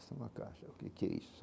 Essa é uma caixa, o que que é isso?